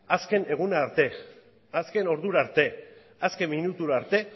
azken eguna arte azken ordura arte azken minutura arte